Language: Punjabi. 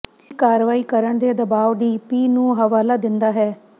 ਇਹ ਕਾਰਵਾਈ ਕਰਨ ਦੇ ਦਬਾਅ ਡੀ ਪੀ ਨੂੰ ਹਵਾਲਾ ਦਿੰਦਾ ਹੈ